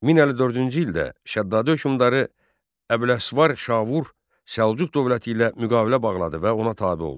1054-cü ildə Şəddadi hökmdarı Əbüləsvar Şavur Səlcuq dövləti ilə müqavilə bağladı və ona tabe oldu.